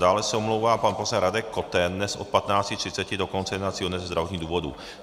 Dále se omlouvá pan poslanec Radek Koten dnes od 15.30 do konce jednacího dne ze zdravotních důvodů.